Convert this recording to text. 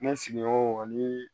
Ne sigiɲɔgɔnw ani